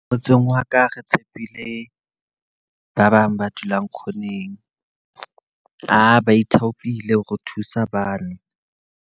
Motseng wa ka re tshepile ba bang ba dulang corner-ng. Ba ithaopile hore thusa bane.